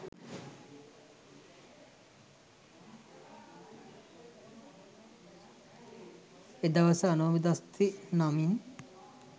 එදවස අනෝමදස්සි නමින්